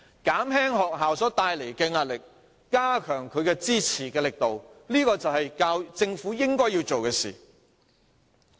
減輕學校帶來的壓力，加強它的支持力度，這就是政府應該要做的事。